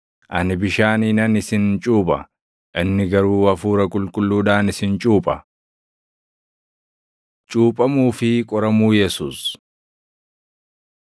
Ani bishaaniinan isin cuupha; inni garuu Hafuura Qulqulluudhaan isin cuupha.” Cuuphamuu fi Qoramuu Yesuus 1:9‑11 kwf – Mat 3:13‑17; Luq 3:21,22 1:12,13 kwf – Mat 4:1‑11; Luq 4:1‑13